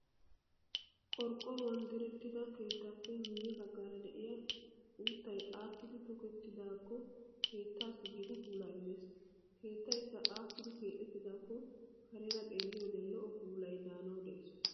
Qorqqoruwan direttida keettaappe miyye baggaara de'iyaa uuttayi aakkidi tokettidaakko keettassi gita puulaa immes. Keettayikka aakkidi keexettidaakko kareera xeelliyoode lo'o puulayi daanawu de'es.